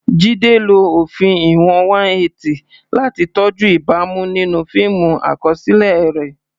Jide lo òfin ìwọ̀n 180 láti tọ́jú ìbámu nínú fíìmù àkọsílẹ̀ rẹ̀.